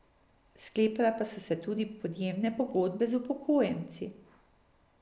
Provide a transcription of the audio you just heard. Sklepale pa so tudi podjemne pogodbe z upokojenci.